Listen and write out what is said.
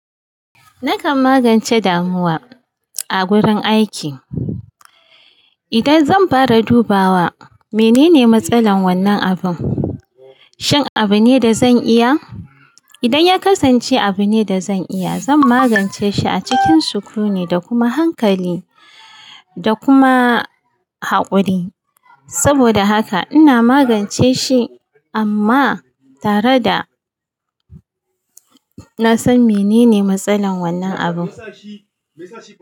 Nakan magance damuwa a gurin aiki idan zan fara dubawa menene matsalar wannan abin, shin abu ne da zan iya? Idan ya kasance abu ne da zan iya zan magance shi a cikin sukuni da kuma hankali da kuma haƙuri. Saboda haka ina magance shi amma tare da na san menene matsalar wannan abun.